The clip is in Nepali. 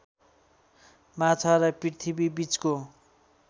माछा र पृथ्वीबीचको